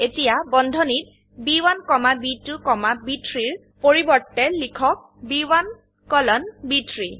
এতিয়া বন্ধনীত ব1 কমা ব2 কমা ব3 ৰ পৰিবৰ্তে লিখক B1 কোলন ব3